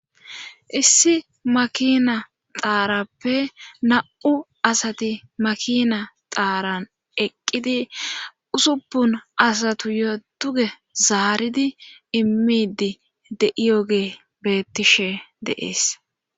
issi makina xaarappe na'u asati makina xaaran eqqidi usupun asatuyo duge zaaridi immidi de'iyogey betettishe deees